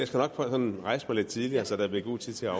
sådan rejse mig lidt tidligere så der bliver god tid til at